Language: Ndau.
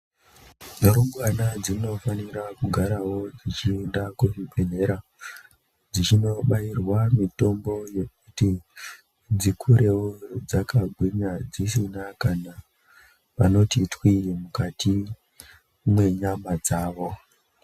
Rumbwana dzinofanira kugarawo dzichienda kuchibhedhlera dzichinobayirwa mitombo yekuti dzikurewo dzakagwinya dzisina kana panoti twii mukati mwenyama dzavo.